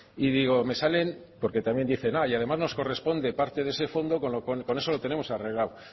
y digo me salen porque también dicen y además nos corresponde parte de ese fondo con eso lo tenemos arreglado